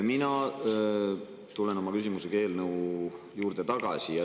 Mina tulen oma küsimusega eelnõu juurde tagasi.